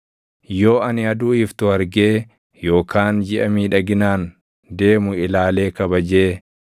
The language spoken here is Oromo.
yoo ani aduu iftu argee yookaan jiʼa miidhaginaan deemu ilaalee kabajee,